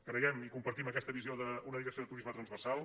creiem i compartim aquesta visió d’una direcció de turisme transversal